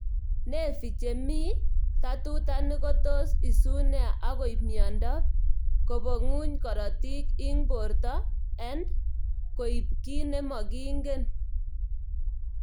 Nevi chemii tatutanik ko tos isun nea akoip miondop koponguny korotik ing porto and koip ki ne makingen